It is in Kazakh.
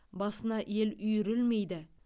басына ел үйірілмейді